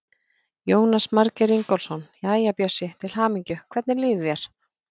Jónas Margeir Ingólfsson: Jæja, Bjössi, til hamingju, hvernig líður þér?